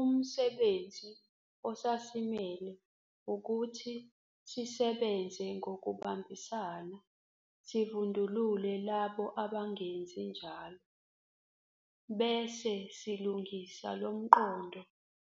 Umsebenzi osasimele ukuthi sisebenze ngokubambisana sivundulule labo abangenzi njalo, bese silungisa lo mqondo